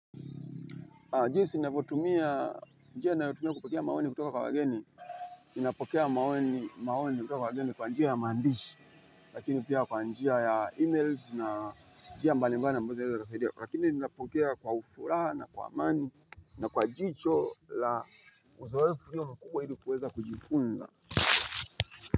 Jinsi ninavyotumia, njia ninayotumia kupokea maoni kutoka kwa wageni, ninapokea maoni kwa wageni kwa njia ya maandishi, lakini pia kwa njia ya emails na njia mbalimbali ambaza zinaweza zikasaidia. Lakini ninapokea kwa furaha na kwa amani na kwa jicho la uzoefu ikiwa mkubwa ili kuweza kujifunza.